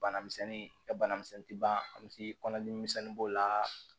Bana misɛnnin ka bana misɛnnin ti ban a misi kɔnɔdimi misɛnnin b'o la